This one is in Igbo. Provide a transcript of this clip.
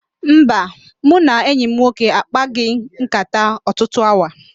Mba, mụ na enyi m nwoke a kpaghị nkàtá ọtụtụ awa